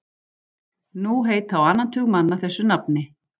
Nú heita á annan tug manna þessu nafni.